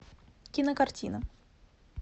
кинокартина